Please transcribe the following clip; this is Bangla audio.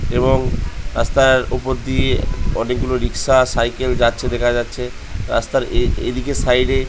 এবং রাস্তার উপর দিয়ে অনেকগুলো রিক্সা সাইকেল যাচ্ছে দেখা যাচ্ছে রাস্তার এ এদিকে সাইড এ --